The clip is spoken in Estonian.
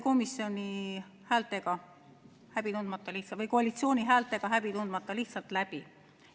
See hääletati koalitsiooni häältega häbi tundmata lihtsalt läbi.